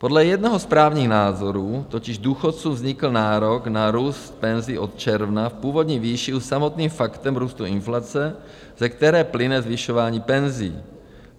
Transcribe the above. Podle jednoho z právních názorů totiž důchodcům vznikl nárok na růst penzí od června v původní výši už samotným faktem růstu inflace, ze které plyne zvyšování penzí.